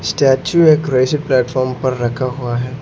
Statue एक रहीसी platform पर रखा हुआ है।